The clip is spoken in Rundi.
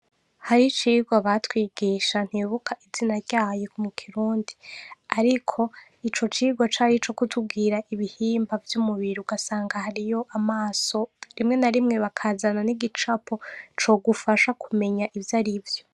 Hariho icigwa batwigisha ntibuka izina ryayo mu kirundi. Ariko, ico cigwa cari ico kutubwira ibihimba vy'umubiri, ugasanga hariyo amaso, rimwe na rimwe bakazana n'igicapo, cogufasha kumenya ivyo ari vyo.